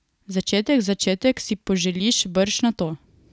Začetek, začetek, si poželiš brž nato.